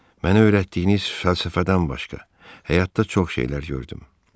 Mənə öyrətdiyiniz fəlsəfədən başqa, həyatda çox şeylər gördüm.